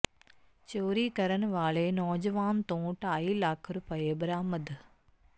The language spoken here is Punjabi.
ਚੋਰੀ ਕਰਨ ਵਾਲੇ ਨੌਜਵਾਨ ਤੋਂ ਢਾਈ ਲੱਖ ਰੁਪਏ ਬਰਾਮਦ